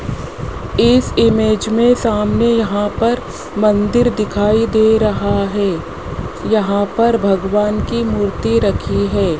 इस इमेज में सामने यहां पर मंदिर दिखाई दे रहा है यहां पर भगवान की मूर्ति रखी है।